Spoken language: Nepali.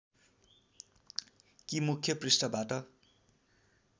कि मुख्य पृष्ठबाट